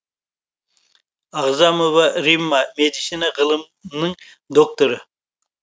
ағзамова римма медицина ғылымдарының докторы